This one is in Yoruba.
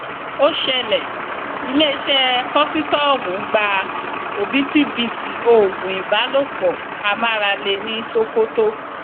ó ṣẹlẹ iléeṣẹ kósítọọmù gba òbítíbitì oògùn ìbálòpọ amáralé ní sokoto